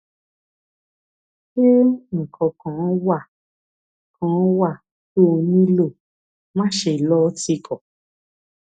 ṣé nǹkan kan wà kan wà tó o nílò máṣe lọ tìkọ